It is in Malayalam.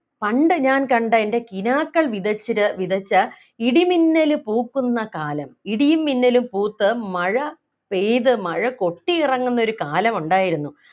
പണ്ട് ഞാൻ കണ്ട എൻ്റെ കിനാക്കൾ വിതച്ചത് വിതച്ച ഇടിമിന്നല് പൂക്കുന്ന കാലം ഇടിയും മിന്നലും പൂത്ത് മഴ പെയ്ത് മഴ കൊത്തിയിറങ്ങുന്നൊരു കാലമുണ്ടായിരുന്നു